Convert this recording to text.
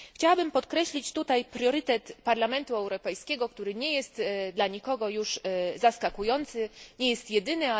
Chciałabym podkreślić priorytet Parlamentu Europejskiego, który nie jest już dla nikogo zaskakujący, nie jest jedyny.